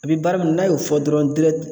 A bi baara min n'a y'o fɔ dɔrɔn